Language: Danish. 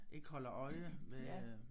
Ikke holder øje med øh